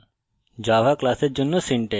java class এর গঠন